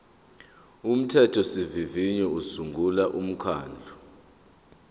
umthethosivivinyo usungula umkhandlu